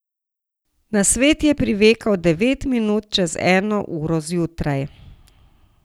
Na svet je privekal devet minut čez eno uro zjutraj.